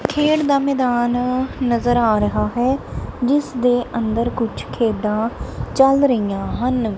ਖੇਡ ਦਾ ਮੈਦਾਨ ਨਜ਼ਰ ਆ ਰਿਹਾ ਹੈ ਜਿਸ ਦੇ ਅੰਦਰ ਕੁਝ ਖੇਡਾਂ ਚੱਲ ਰਹੀਆਂ ਹਨ।